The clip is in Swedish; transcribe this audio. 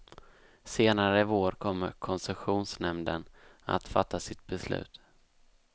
Senare i vår kommer koncessionsnämnden att fatta sitt beslut.